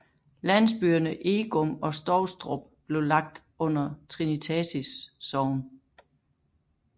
Landsbyerne Egum og Stovstrup blev lagt under Trinitatis Sogn